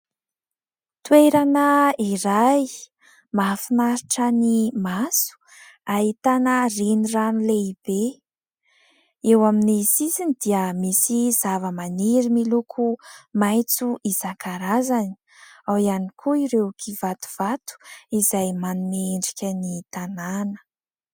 Toerana iray mahafinaritra ny maso. Ahitana renirano lehibe, eo amin' ny sisiny dia misy zava-maniry miloko maintso isankarazany. Ao ihany koa ireo kivatovato izay manome endrika ny tanàna.